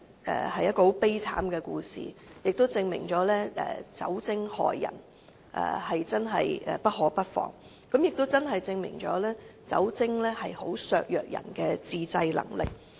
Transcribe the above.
上述故事證明了酒精害人，真的不可不防，因為酒精會削弱人的自制能力。